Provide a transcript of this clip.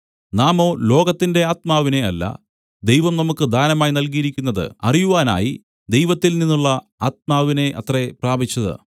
നാമോ ലോകത്തിന്റെ ആത്മാവിനെ അല്ല ദൈവം നമുക്ക് ദാനമായി നല്കിയിരിക്കുന്നത് അറിയുവാനായി ദൈവത്തിൽനിന്നുള്ള ആത്മാവിനെ അത്രേ പ്രാപിച്ചത്